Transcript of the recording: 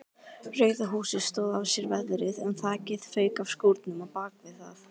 Rauða húsið stóð af sér veðrið en þakið fauk af skúrnum á bakvið það.